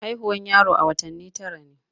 Haihuwan yaro a watanni tara ne.